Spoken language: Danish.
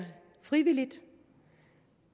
frivilligt